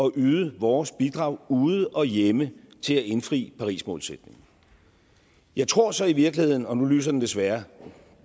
at yde vores bidrag ude og hjemme til at indfri parismålsætningen jeg tror så i virkeligheden og nu lyser lampen desværre